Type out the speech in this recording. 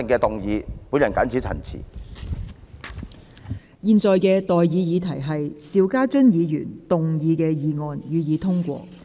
我現在向各位提出的待議議題是：邵家臻議員動議的議案，予以通過。